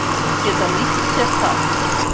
Þeir geta nýtt sér það.